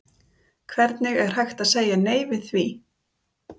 Hvernig er hægt að segja nei við því?